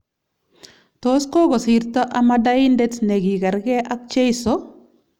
Tos kokosirto amadaindet ne kigargei ak cheiso?